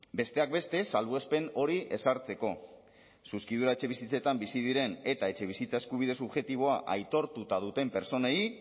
besteak beste salbuespen hori ezartzeko zuzkidura etxebizitzetan bizi diren eta etxebizitza eskubide subjektiboa aitortuta duten pertsonei